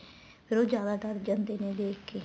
ਫ਼ੇਰ ਉਹ ਜਿਆਦਾ ਡਰ ਜਾਂਦੇ ਨੇ ਦੇਖਕੇ